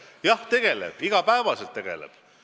Jah, tegeleb – iga päev tegeleb!